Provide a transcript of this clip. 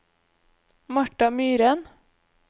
Martha Myren